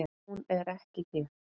Hún er ekki hér.